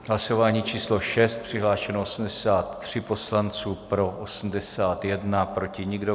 Hlasování číslo 6, přihlášeno 83 poslanců, pro 81, proti nikdo.